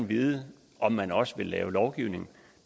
vide om man også vil lave lovgivning